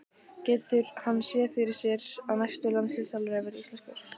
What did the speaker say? Getur hann séð fyrir sér að næsti landsliðsþjálfari verði íslenskur?